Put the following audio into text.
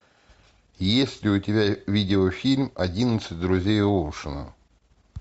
есть ли у тебя видеофильм одиннадцать друзей оушена